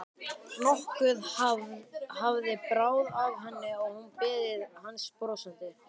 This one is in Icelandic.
Nokkuð hafði bráð af henni og hún beið hans brosandi.